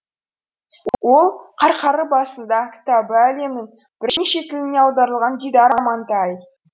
ол басында кітабы әлемнің бірнеше тіліне аударылған дидар амантай